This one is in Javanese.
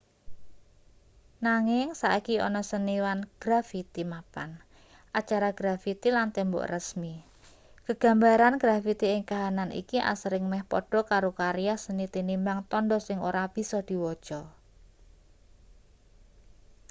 nanging saiki ana seniwan grafiti mapan acara grafiti lan tembok rasmi gegambaran grafiti ing kahanan iki asring meh padha karo karya seni tinimbang tandha sing ora bisa diwaca